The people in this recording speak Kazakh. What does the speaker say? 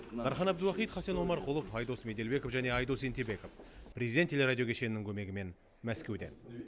дархан әбдуахит хасен омарқұлов айдос меделбеков және айдос ентебеков президент телерадио кешенінің көмегімен мәскеуден